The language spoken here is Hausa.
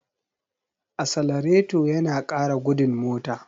Asalareto yana ƙara gudun mota.